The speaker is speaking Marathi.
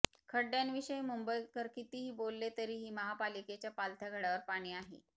खड्डयांविषयी मुंबईकर कितीही बोलले तरीही महापालिकेच्या पालथ्या घडयावर पाणी आहे